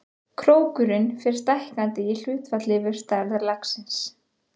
Krókurinn fer stækkandi í hlutfalli við stærð laxins.